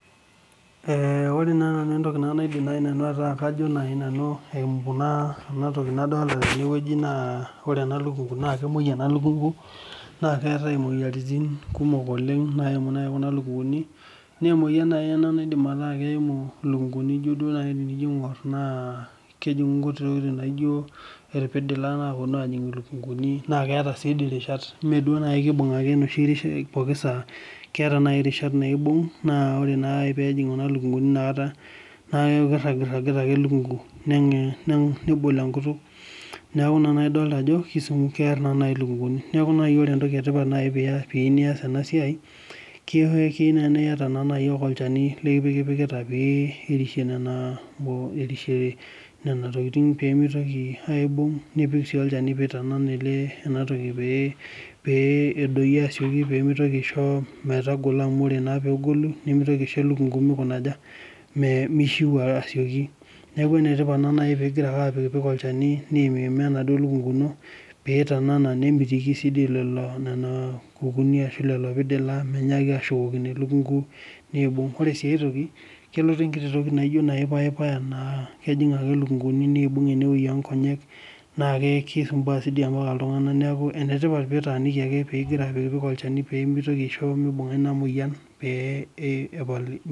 Ore naa nanu entoki naidim nanu atejo eyimu entoki nadolita tenewueji naa kemwoi ena lukungu naa keetae moyiaritin kumok nayimu lukunguni naa emoyian ena nayimu lukunguni ijio najii tenijo aing'or kejingu nkuti tokitin naijio irpidila naapuonu ajig elukunguni naa keeta sii rishata mee kibug ake pookin saa kibung ake rishat naibung naa ore ake pee ebung neeku kirangirangita ake elukungu nebolo enkutuk neeku ena naaji Ajo kear elukunguni neeku oree naaji entoki etipat pee eyieu neas ena siai naa keyieu naaji naa eyata ake olchani lipikipikita pee erishie nena tokitin nipik sii olchani pee eitanana enatoki pee eitadoyio asioki pee eisho metadoi asioki amu ore naa oegolu nimitoki aishoo elukungu mishiu asioki neeku enetipat teneku egira ayimaa elukungu pee eitanana nemitiki Nena kukuni ashu lelo pidila eitoki ashukokino elukungu nibug ore sii aitoki kelotu entoki naijio payipayan naa kejig ake lukunguni nibug enewueji oo Nkonyek naa kisumbua doi mbaka iltung'ana neeku enetipat pee etaniki pee epik olchani pee mitoki aishi mibunga ena moyian